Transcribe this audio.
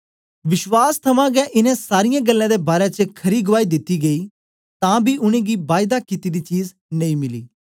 विश्वास थमां गै इनें सारीयें गल्लें दे बारै च खरी गुआई दिती गेई तां बी उनेंगी बायदा कित्ती दी चीज नेई मिली